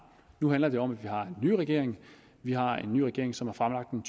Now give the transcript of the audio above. nu handler det om at vi har en ny regering vi har en ny regering som har fremlagt en